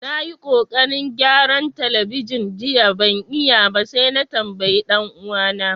Na yi kokarin gyaran telibijin jiya ban iya ba sai na tambaye dan uwa na.